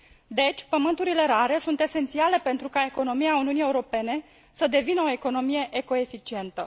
Deci, pământurile rare sunt esențiale pentru ca economia Uniunii Europene să devină o economie eco eficientă.